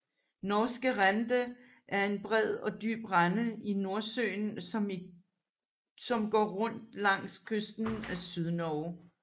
Norske Rende er en bred og dyb rende i Nordsøen som går rundt langs kysten af Sydnorge